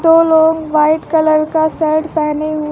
दो लोग white colour का शर्ट पहने है।